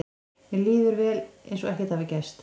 Mér líður vel, eins og ekkert hafi gerst.